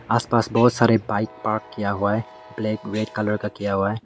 आस पास बहोत सारे बाइक पार्क किया हुआ है ब्लैक रेड कलर का किया हुआ है।